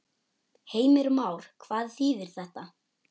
Heimir Már: Hvað þýðir þetta?